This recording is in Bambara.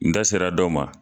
N da sera dɔ ma.